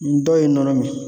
N dɔw ye nɔnɔ min